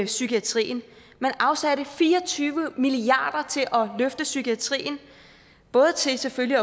psykiatrien man afsatte fire og tyve milliarder til at løfte psykiatrien både selvfølgelig